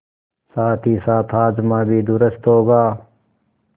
साथहीसाथ हाजमा भी दुरूस्त होगा